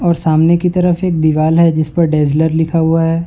और सामने की तरफ से एक दीवाल है जिस पर डेजलर लिखा हुआ है।